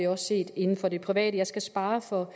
også inden for det private jeg skal spare os for